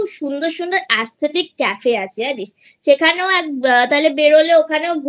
অনেক সুন্দর সুন্দর Aesthetic Cafe এ আছে জানিস সেখানেও এক তাহলে বেরোলে ওখানে